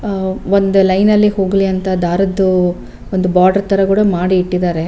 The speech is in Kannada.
ಆಹ್ಹ್ ಒಂದ್ ಲೈನ್ ಅಲ್ಲಿ ಹೋಗ್ಲಿ ಅಂತ ದಾರದ್ದು ಒಂದು ಬಾರ್ಡರ್ ತರ ಮಾಡಿ ಇಟ್ಟಿದ್ದಾರೆ.